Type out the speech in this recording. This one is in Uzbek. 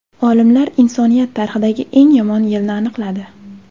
Olimlar insoniyat tarixidagi eng yomon yilni aniqladi.